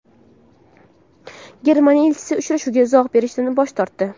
Germaniya elchisi uchrashuvga izoh berishdan bosh tortdi.